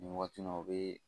Nin waati in na o bee